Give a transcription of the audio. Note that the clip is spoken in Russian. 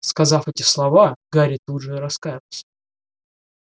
сказав эти слова гарри тут же раскаялся